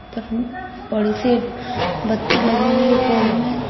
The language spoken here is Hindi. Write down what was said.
सी बत्ती लगी हुई है पोल में।